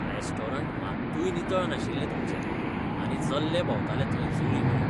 Restaurant मात्तूय नितळ नाशिल्लें तुमचें आनी जल्ले भोंवताले थंय जळींमळीं. जेवण खाणाचो समीक्षक